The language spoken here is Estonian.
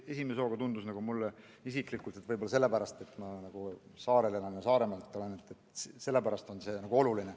Esimese hooga tundus mulle, et võib-olla on see minu jaoks oluline sellepärast, et ma elan saarel ja olen Saaremaalt pärit.